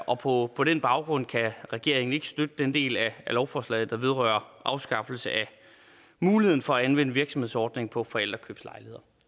og på på den baggrund kan regeringen ikke støtte den del af lovforslaget der vedrører afskaffelse af muligheden for at anvende virksomhedsordningen på forældrekøbslejligheder